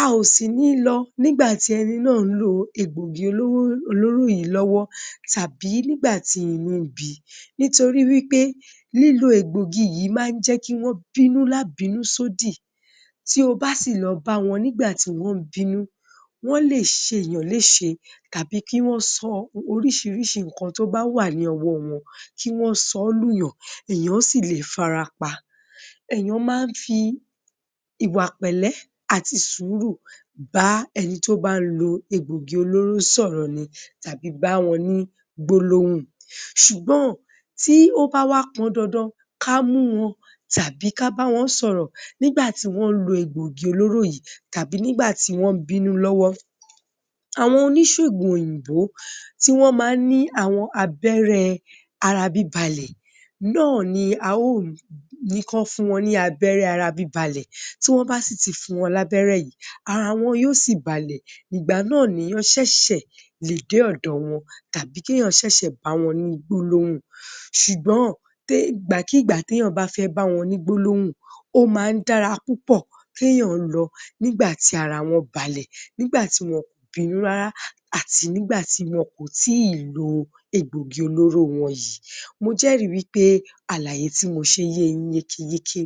a ò sì ní lọ nígbàtí ẹni náà ń lo egbògi olóró yìí lọ́wọ́ tàbí nígbà tí inú ńbi nítorí wí pé lílo egbògi yìí máa ń jẹ́ kí wọ́n bínú lábìnú sódì tí o bá sì lọ báwọn nígbà tí wọ́n ń bínú wọ́n lè ṣe èèyàn léṣe tàbí kí wọ́n sọ oríṣiríṣi nǹkan tó bà wà ní ọwọ́ wọn, kí wọ́n sọ lùyàn, èèyàn sì lè farapa èèyàn má ń fi ìwà pẹ̀lẹ́ àti sùúrù bá ẹni tó bá lo egbògì olóró sọ̀rọ̀ ni tàbí báwọn ní gbólóhùn ṣùgbọ́n tí ó bá wá pọndandan ká mú wọn tàbí kábáwọn sọ̀rọ̀ nígbàtí wọ́n lo egbògi olóró yìí tàbí nígbàtí wọ́n ń bínú lọ́wọ́ àwọn oníṣègùn oyìnbó tí wọ́n máa ń ní àwọn abẹ́rẹ́ arabíbalẹ̀ náà ni a ó ní kán fún wọn ní abẹ́rẹ́ ara bíbalẹ̀, tí wọ́n bá sì ti fún wọn lábẹ́rẹ́ yìí, ara wọn yóò si balẹ̀, ìgbà náà ni èèyàn ṣẹ̀ṣẹ̀ lè dé ọ̀dọ̀ wọn tàbí kí èèyàn ṣẹ̀ṣẹ̀ báwọn ní gbólóhùn ṣùgbọ́n ìgbàkígbà tẹ́yàn bá fẹ́ báwọn ní gbólóhùn ó máa ń dára púpọ̀ téyàn lọ nígbà tí ara wọ́n balẹ̀ nígbà tí wọn ò bínú rárá àti nígbà tí wọn kò tí ì lo egbògi olóró wọn yìí. Mo jẹ́rì wí pé àlàyé tí mo ṣe ye yín yékéyéké